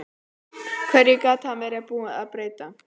Hverju gat hann verið búinn að breyta?